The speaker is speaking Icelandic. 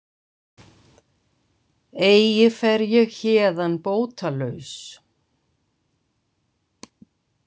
Eigi fer ég héðan bótalaus.